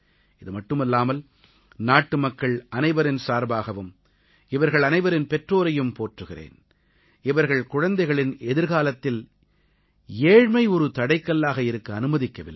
இது மட்டுமல்லாமல் நாட்டுமக்கள் அனைவரின் சார்பாகவும் இவர்கள் அனைவரின் பெற்றோரையும் போற்றுகிறேன் இவர்கள் குழந்தைகளின் எதிர்காலத்தில் ஏழ்மை ஒரு தடைக்கல்லாக இருக்க அனுமதிக்கவில்லை